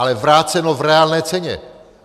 Ale vráceno v reálné ceně.